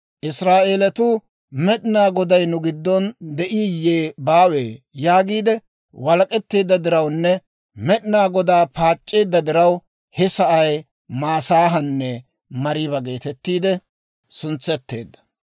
Israa'eelatuu, «Med'inaa Goday nu giddon de'iiyye baawe?» yaagiide walak'etteedda dirawunne Med'inaa Godaa paac'c'eedda diraw, he sa'ay Masaahanne Mariiba geetettiide suntseteedda.